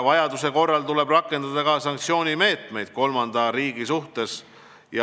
Vajaduse korral tuleb rakendada ka sanktsioonimeetmeid kolmanda riigi suhtes.